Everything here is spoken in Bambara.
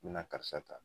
N bɛna karisa ta